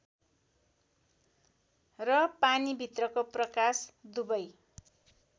र पानीभित्रको प्रकाश दुवै